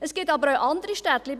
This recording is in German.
Es gibt aber auch andere Städte.